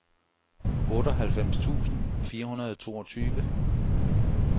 otteoghalvfems tusind fire hundrede og toogtyve